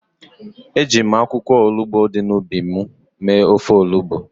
Eji m akwụkwọ olugbo dị n’ubi m mee ofe olugbo.